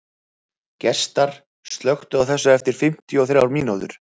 Gestar, slökktu á þessu eftir fimmtíu og þrjár mínútur.